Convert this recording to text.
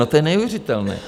No to je neuvěřitelné.